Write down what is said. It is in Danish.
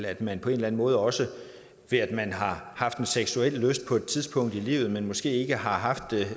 at man på en eller anden måde også ved at man har haft en seksuel lyst på et tidspunkt i livet men måske ikke har haft det